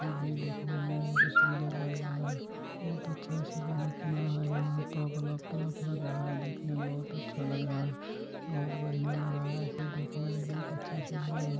इ भी देखने में बहुत सुन्दर लग रहा है बहुत अच्छा सा बना है यहाँ पर| बलब -बलब लग रहा है| देखने में बहुत अच्छा लग रहा है| बहुत बढ़ियां लग रहा है देखने में बहुत अच्छा सुन्दर है|